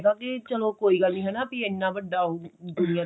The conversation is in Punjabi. ਹੈਗਾ ਕੀ ਚੱਲੋ ਕੋਈ ਗੱਲ ਨਹੀਂ ਹੈਨਾ ਇੰਨਾ ਵੱਡਾ ਦੁਨੀਆਂ ਤੇ